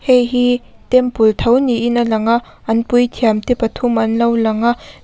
heihi temple tho niin a langa an puithiam pathum te anlo langa.